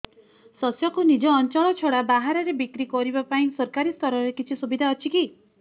ଶସ୍ୟକୁ ନିଜ ଅଞ୍ଚଳ ଛଡା ବାହାରେ ବିକ୍ରି କରିବା ପାଇଁ ସରକାରୀ ସ୍ତରରେ କିଛି ସୁବିଧା ଅଛି କି